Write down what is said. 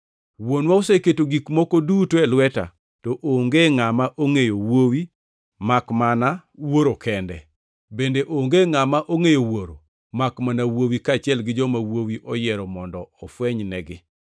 “Wuonwa oseketo gik moko duto e lweta. To onge ngʼama ongʼeyo Wuowi makmana Wuoro kende, bende onge ngʼama ongʼeyo Wuoro makmana Wuowi kaachiel gi joma Wuowi oyiero mondo ofwenynegi.